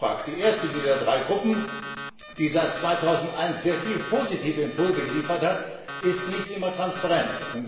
EFRAG, die erste dieser drei Gruppen, die seit 2001 sehr viele positive Impulse geliefert hat, ist nicht immer transparent.